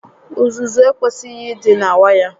Uzuzu ekwesighi ị dị na waya